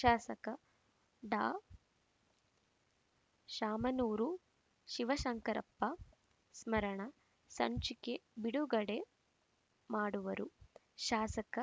ಶಾಸಕ ಡಾಶಾಮನೂರು ಶಿವಶಂಕರಪ್ಪ ಸ್ಮರಣ ಸಂಚಿಕೆ ಬಿಡುಗಡೆ ಮಾಡುವರು ಶಾಸಕ